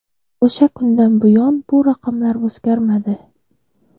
O‘sha kundan buyon bu raqamlar o‘zgarmadi.